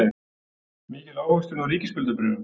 Mikil ávöxtun á ríkisskuldabréfum